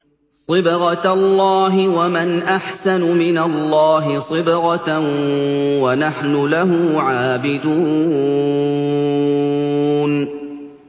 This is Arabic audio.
صِبْغَةَ اللَّهِ ۖ وَمَنْ أَحْسَنُ مِنَ اللَّهِ صِبْغَةً ۖ وَنَحْنُ لَهُ عَابِدُونَ